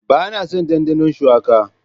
Ba na son dandano shuwaka.